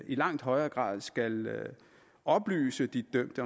i langt højere grad skal oplyse de dømte